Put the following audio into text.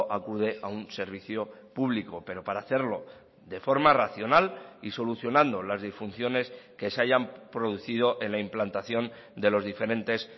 acude a un servicio público pero para hacerlo de forma racional y solucionando las disfunciones que se hayan producido en la implantación de los diferentes